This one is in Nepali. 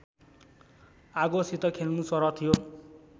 आगोसित खेल्नुसरह थियो।